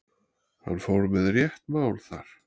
Hann fór með rétt mál þar.